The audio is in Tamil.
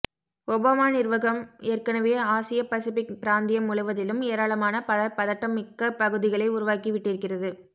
ஒபாமா நிர்வாகம் ஏற்கனவே ஆசியப் பசிபிக் பிராந்தியம் முழுவதிலும் ஏராளமான பல பதட்டம்மிக்க பகுதிகளை உருவாக்கி விட்டிருக்கிறது